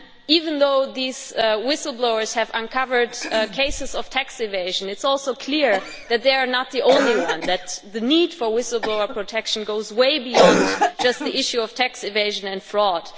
Even though these whistle blowers have uncovered cases of tax evasion, it is also clear that they are not the only ones and that the need for whistle blower protection goes way beyond just the issue of tax evasion and fraud.